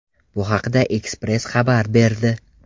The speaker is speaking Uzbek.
Bu haqda Express xabar berdi .